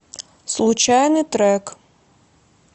случайный трек